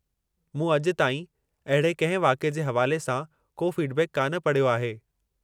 मूं अॼु ताईं अहिड़े कंहिं वाक़िए जे हवाले सां को फ़ीडबैक कान पढ़यो आहे।